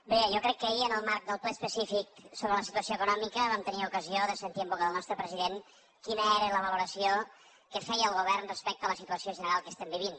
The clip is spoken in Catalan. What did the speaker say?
bé jo crec que ahir en el marc del ple específic sobre la situació econòmica vam tenir ocasió de sentir en boca del nostre president quina era la valoració que feia el govern respecte a la situació general que estem vivint